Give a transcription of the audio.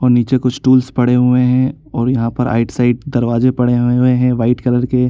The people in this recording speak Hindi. और नीचे कुछ टूल्स पड़े हुएं हैं और यहाँ पर आइट साइड दरवाज़े पड़े हुए हुएं हैं वाइट कलर के --